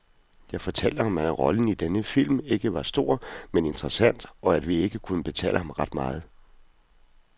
Jeg fortalte ham, at rollen i denne film ikke var stor, men interessant, og at vi ikke kunne betale ham ret meget.